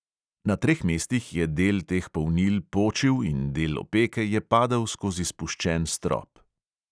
Na treh mestih je del teh polnil počil in del opeke je padel skozi spuščen strop.